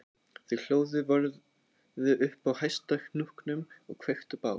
Þau hlóðu vörðu upp á hæsta hnúknum og kveiktu bál